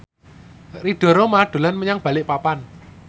Ridho Roma dolan menyang Balikpapan